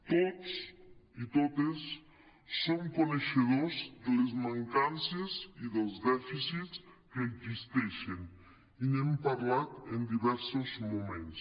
tots i totes som coneixedors de les mancances i dels dèficits que existeixen i n’hem parlat en diversos moments